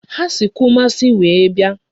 Ha si Kumasi wee bịa.